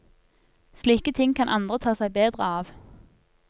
Slike ting kan andre ta seg bedre av.